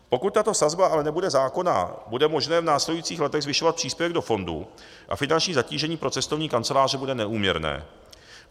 Pokud tato sazba ale nebude zákonná, bude možné v následujících letech zvyšovat příspěvek do fondu a finanční zatížení pro cestovní kanceláře bude neúměrné.